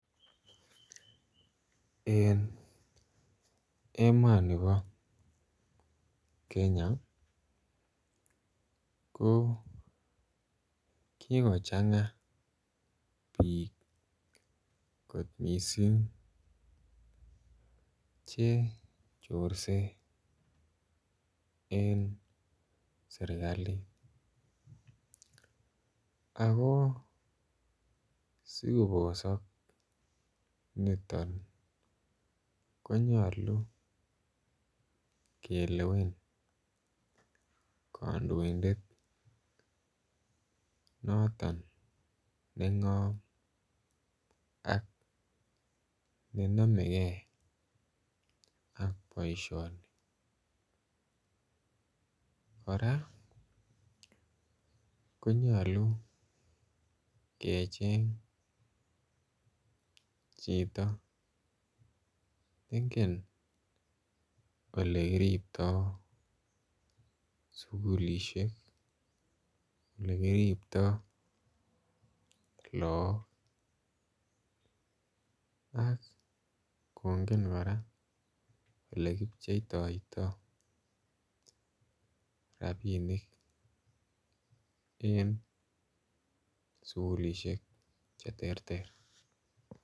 En emoni bo Kenya ko kikochanga bik kot mising Che chorse en serkali ago asi kobosok niton ko nyolu kelewen kandoindet noton nengom ak ne nomegei ak boisioni kora konyolu kecheng chito ne ingen Ole kiriptoi sukulisiek ak Ole kiriptoi lagok ak kongen kora Ole kipcheitoito rabinik en sukulisiek Che terter